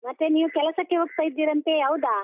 ಮತ್ತೆ ನೀವು ಕೆಲಸಕ್ಕೆ ಹೋಗ್ತಾ ಇದ್ದೀರಂತೆ, ಹೌದಾ?